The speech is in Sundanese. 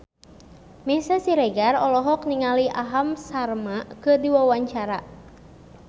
Meisya Siregar olohok ningali Aham Sharma keur diwawancara